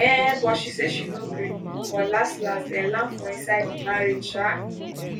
um but she say she no gree but laslas dem land for inside di marriage sha